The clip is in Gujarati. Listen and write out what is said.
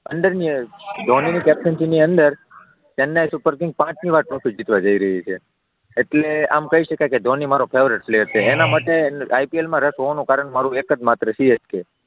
અંડર ધોનીની કેપ્ટનશીપની અંડર ચેન્નઈ સુપર કિંગ પાંચમી વખત ટ્રોફી જીતવા જઈ રહ્યું છે, એટલે આમ કહી શકાય કે ધોની મારો ફેવરિટ પ્લેયર છે એનાં માટે IPL માં રસ હોવાનું કારણ મારૂ એક જ માત્ર CSK